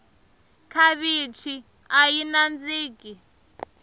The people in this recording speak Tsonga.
khavichi ayi nandziki